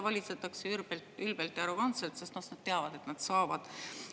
Valitsetakse ülbelt, ülbelt ja arrogantselt, sest nad teavad, et nad seda saavad.